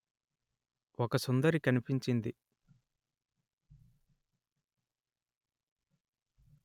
ఒక సుందరి కనిపించింది